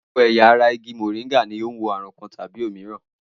Gbogbo ẹ̀yà ara igi mòríngà ní o ni wo ààrùn kan tàbí òmíràn